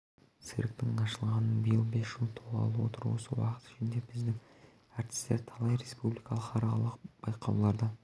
цирктің ашылғанына биыл бес жыл толғалы отыр осы уақыт ішінде біздің ртістер талай республикалық халықаралық байқауларда